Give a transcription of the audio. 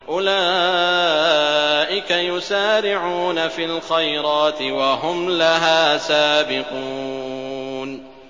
أُولَٰئِكَ يُسَارِعُونَ فِي الْخَيْرَاتِ وَهُمْ لَهَا سَابِقُونَ